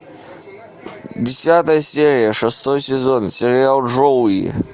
десятая серия шестой сезон сериал джоуи